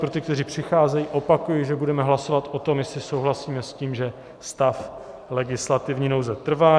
Pro ty, kteří přicházejí, opakuji, že budeme hlasovat o tom, jestli souhlasíme s tím, že stav legislativní nouze trvá.